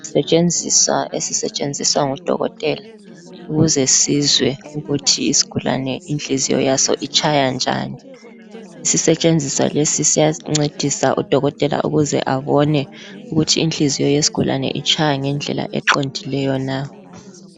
Isetshenziswa esisetshenziswa ngudokotela ukuze sizwe ukuthi isigulane inhliziyo yaso itshaya njani. Isisetshenziswa lesi siyasincedisa udokotela ukuze abane ukuthi inhliziyo yesigulane itshaya ngendlela eqondileyo na.